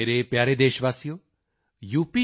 ਮੇਰੇ ਪਿਆਰੇ ਦੇਸ਼ਵਾਸੀਓ ਯੂ